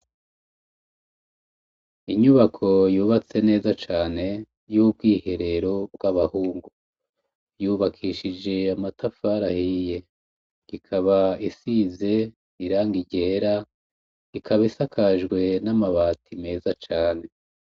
Inyubako yubatse neza cane yubwiherero bwabahungu yubakishije amatafari ahiye rikaba risize irangi ryera ikaba isakajwe namabati meza cane